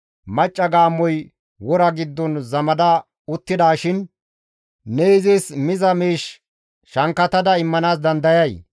«Macca gaammoy wora giddon zamada uttidaashin ne izis miza miish shankkatada immanaas dandayay?